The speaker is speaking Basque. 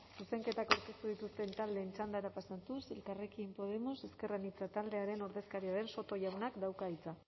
zuzenketak aurkeztu dituzten taldeen txandara pasatuz elkarrekin podemos ezker anitza taldearen ordezkaria den soto jaunak dauka hitza